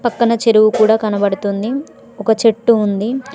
పక్కన చెరువు కూడా కనబడుతుంది ఒక చెట్టు ఉంది.